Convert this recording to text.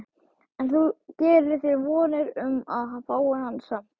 En þú gerir þér vonir um að fá hann samt?